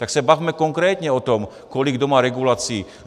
Tak se bavme konkrétně o tom, kolik kdo má regulací.